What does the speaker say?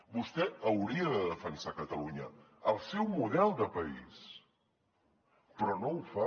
vostè hauria de defensar catalunya el seu model de país però no ho fa